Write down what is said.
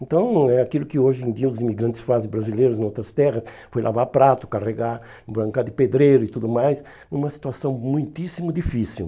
Então, é aquilo que hoje em dia os imigrantes fazem brasileiros em outras terras, foi lavar prato, carregar, embrancar de pedreiro e tudo mais, numa situação muitíssimo difícil.